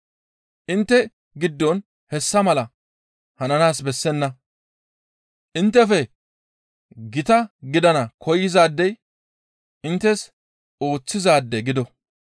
Intte giddon hessa mala hananaas bessenna; inttefe gita gidana koyzaadey inttes ooththizaade gido.